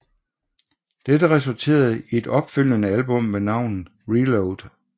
Dette resulterede i et opfølgende album ved navn ReLoad